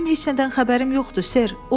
Mənim heç nədən xəbərim yoxdur, Ser.